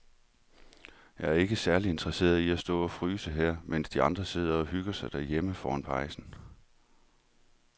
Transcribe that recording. Jeg er ikke særlig interesseret i at stå og fryse her, mens de andre sidder og hygger sig derhjemme foran pejsen.